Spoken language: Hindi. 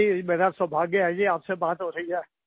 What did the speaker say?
मेरा सौभाग्य है जी आपसे बात हो रही है